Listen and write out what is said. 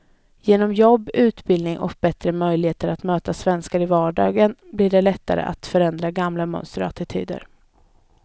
Genom jobb, utbildning och bättre möjligheter att möta svenskar i vardagen blir det lättare att förändra gamla mönster och attityder.